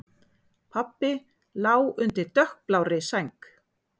Pabbi lá undir dökkblárri sæng.